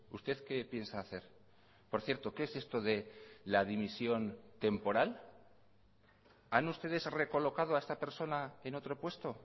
usted qué piensa hacer por cierto qué es esto de la dimisión temporal han ustedes recolocado a esta persona en otro puesto